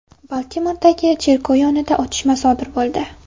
Baltimordagi cherkov yonida otishma sodir bo‘ldi.